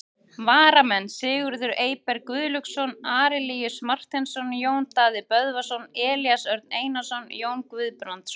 Varamenn: Sigurður Eyberg Guðlaugsson, Arilíus Marteinsson, Jón Daði Böðvarsson, Elías Örn Einarsson, Jón Guðbrandsson.